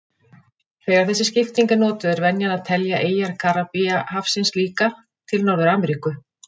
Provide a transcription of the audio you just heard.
Þegar þessi skipting er notuð er venjan að telja eyjar Karíbahafsins líka til Norður-Ameríku.